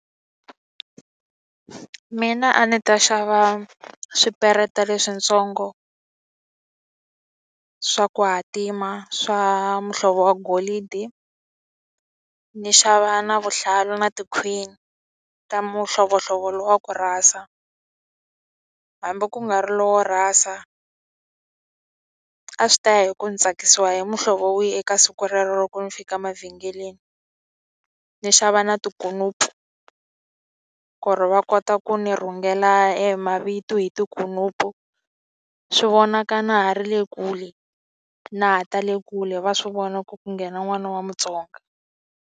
Mina a ni ta xava swipereta leswitsongo swa ku hatima swa muhlovo wa golidi ni xava na vuhlalu na tikhwini ta mihlovohlovo lowu wa ku rhasa hambi ku nga ri lowo rhasa a swi ta ya hi ku ni tsakisiwa hi muhlovo wihi eka siku rero loko ni fika emavhengeleni ni xava na tikunupu ku ri va kota ku ni rhungela e mavito hi tikunupu swi vonaka na ha ri le kule na ha ta le kule va swi vona ku ku nghena n'wana wa Mutsonga.